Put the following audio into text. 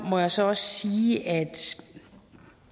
må jeg så også sige at